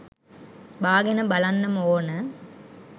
බාගෙන බලන්නම ඕන.